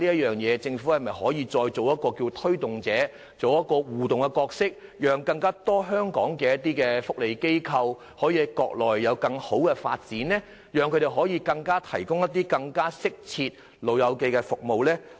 但是，政府可否就此承擔更大的推動和互動角色，讓更多香港福利機構在國內開拓更加良好的產業發展，以便向長者提供更適切服務呢？